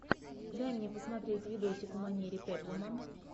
дай мне посмотреть видосик в манере пеплума